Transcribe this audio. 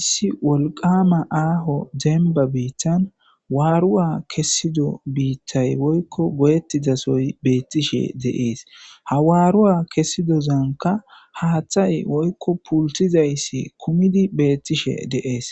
issi wolqama aaho demba biittan waaruwa kessido biittay woykko goyettizasoy beettishe deees ha waaruwa kessidozanka haaththay woykko pultizayssi kumidi beettishe deees